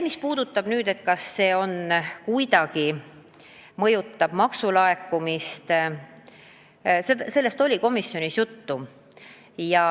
Mis puudutab seda, kas see kuidagi mõjutab maksulaekumisi, siis sellest oli komisjonis juttu.